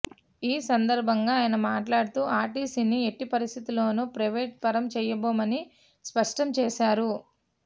ఈ సందర్భంగా ఆయన మాట్లాడుతూ ఆర్టీసీని ఎట్టి పరిస్థితుల్లోనూ ప్రైవేట్ పరం చెయ్యబోమని స్పష్టం చేశారు